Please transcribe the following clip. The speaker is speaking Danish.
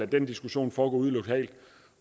den diskussion foregå ude lokalt